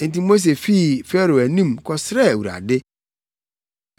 Enti Mose fii Farao anim kɔsrɛɛ Awurade.